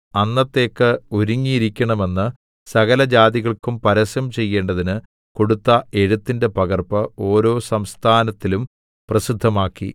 അന്നത്തേക്ക് ഒരുങ്ങിയിരിക്കണമെന്ന് സകലജാതികൾക്കും പരസ്യം ചെയ്യേണ്ടതിന് കൊടുത്ത എഴുത്തിന്റെ പകർപ്പ് ഓരോ സംസ്ഥാനത്തിലും പ്രസിദ്ധമാക്കി